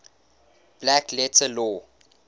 black letter law